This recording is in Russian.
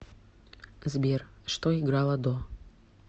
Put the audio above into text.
сбер что играло до